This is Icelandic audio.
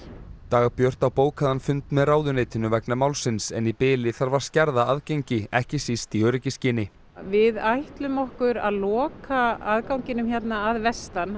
Dagbjört á bókaðan fund með ráðuneytinu vegna málsins en í bili þarf að skerða aðgengi ekki síst í öryggisskyni við ætlum okkur að loka aðganginum hérna að vestan